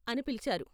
" అని పిలిచారు.